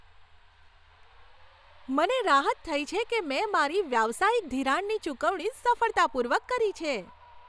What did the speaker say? મને રાહત થઈ છે કે મેં મારી વ્યવસાયિક ધિરાણની ચૂકવણી સફળતાપૂર્વક કરી છે.